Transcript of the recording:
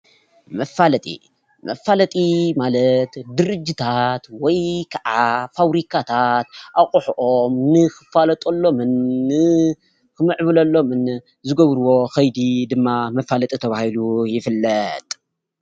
መፋለጢ መፋለጢ ማለት ድርጅታት ወይ ከዓ ፋብሪካታት ኣቅሓኦም ንክፋለጠሎምን ንክምዕብለሎምን ዝገብርዎ ከይዲ ድማ መፋለጢ ተባሂሉ ይፍለጥ ።